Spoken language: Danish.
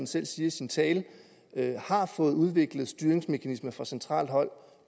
selv siger i sin tale fået udviklet styringsmekanismer fra centralt hold